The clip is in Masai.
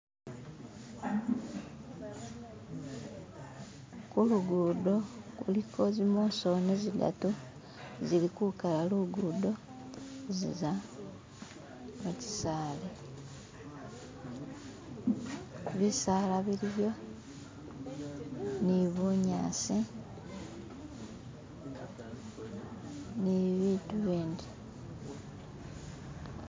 Kulugudo kuliko zi mosoni zidadu zili kukala lugudo ziza mukyisali, bisala biliyo ni bunyasi ni bibitu bindi.